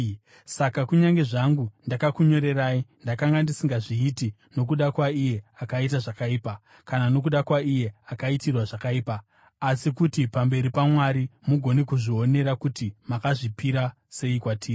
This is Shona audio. Saka kunyange zvangu ndakakunyorerai, ndakanga ndisingazviiti nokuda kwaiye akaita zvakaipa, kana nokuda kwaiye akaitirwa zvakaipa, asi kuti pamberi paMwari mugone kuzvionera kuti makazvipira sei kwatiri.